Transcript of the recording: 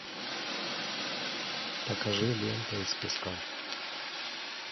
покажи лента из песка